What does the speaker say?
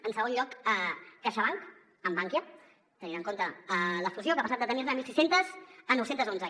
en segon lloc caixabank amb bankia tenint en compte la fusió que ha passat de tenir ne mil sis cents a nou cents i onze